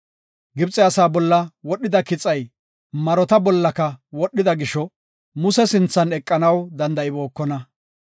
Gibxe asaa bolla wodhida kixay marota bollaka wodhida gisho Muse sinthan eqanaw danda7ibookona.